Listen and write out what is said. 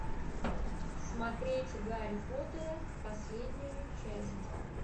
смотреть гарри поттера последнюю часть